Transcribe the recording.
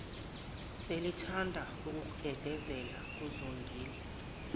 selithanda ukugedezela kuzongile